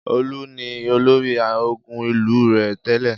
Olú ni olórí ogun ìlú rẹ̀ tẹ́lẹ̀.